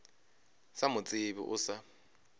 sa mo tsebe o sa